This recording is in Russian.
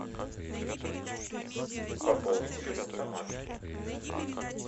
пополнить телефон тамары